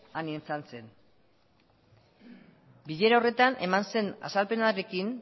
han izan zen bilera horretan eman zen azalpenarekin